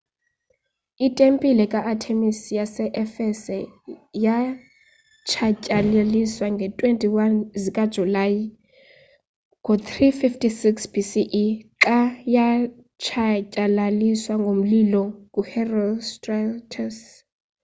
itempile ka-artemis yase-efese yatshatyalaliswa ngee-21 zikajulayi ngo-356 bce xa yatshatyalaliswa ngomlilo nguherostratus